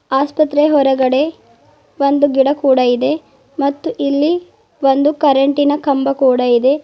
ಆಸ್ಪತ್ರೆ ಹೊರಗಡೆ ಒಂದು ಗಿಡ ಕೂಡ ಇದೆ ಮತ್ತು ಇಲ್ಲಿ ಒಂದು ಕರೆಂಟಿನ ಕಂಬ ಕೂಡ ಇದೆ.